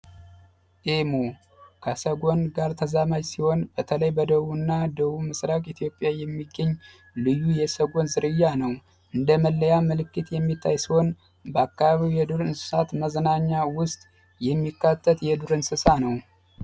ኢሙ ከሰጎን ጋር ሲሆን ተዛማጅ ሲሆን በተለይ በደቡብ ምስራቅ ኢትዮጵያ የሚገኝ ልዩ የሰጎን ዝርያ ነው በልዩ መለያ ምልክት የሚታይ ሲሆን ከአካባቢ መዝናኛ እንስሳት ውስጥ የሚካተት የዱር እንስሳት ነው።